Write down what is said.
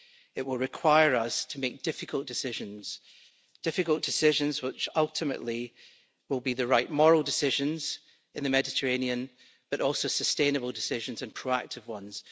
it will require us to make difficult decisions difficult decisions which ultimately will be the right moral decisions in the Mediterranean, but also sustainable decisions and proactive ones.